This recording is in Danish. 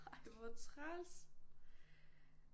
Ej hvor træls